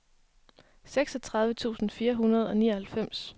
seksogtredive tusind fire hundrede og nioghalvfems